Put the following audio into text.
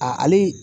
A ale